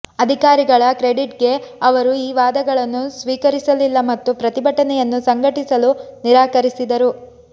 ಅಧಿಕಾರಿಗಳ ಕ್ರೆಡಿಟ್ಗೆ ಅವರು ಈ ವಾದಗಳನ್ನು ಸ್ವೀಕರಿಸಲಿಲ್ಲ ಮತ್ತು ಪ್ರತಿಭಟನೆಯನ್ನು ಸಂಘಟಿಸಲು ನಿರಾಕರಿಸಿದರು